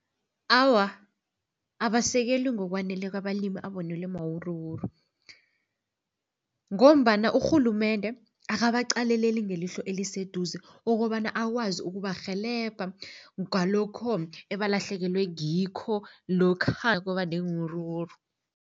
Awa, abasekelwi ngokwaneleko abalimi abonelwe mawuruwuru ngombana urhulumende akabaqaleleli ngelihlo eliseduze, okobana akwazi ukubarhelebha ngalokho ebalahlekelwe ngikho lokha kwaba neewuruwuru.